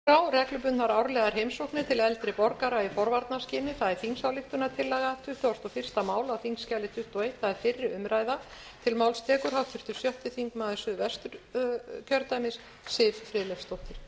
virðulegur forseti ég mæli fyrir tillögu til þingsályktunar um reglubundnar árlegar heimsóknir til eldri borgara í forvarnaskyni að þessu máli standa fulltrúar allra flokka og ég ætla að lesa upp